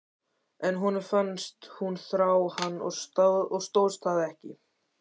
En honum fannst hún þrá hann og stóðst það ekki.